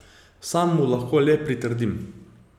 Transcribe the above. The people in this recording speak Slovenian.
Sam mu lahko le pritrdim.